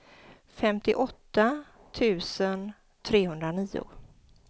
femtioåtta tusen trehundranio